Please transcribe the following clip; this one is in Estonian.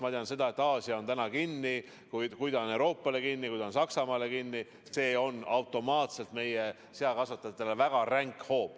Ma tean, et Aasia on täna kinni, ja kui ta on Euroopale kinni, kui ta on Saksamaale kinni, siis on see automaatselt ka meie seakasvatajatele väga ränk hoop.